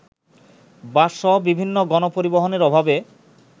বাসসহ বিভিন্ন গণপরিবহনের অভাবে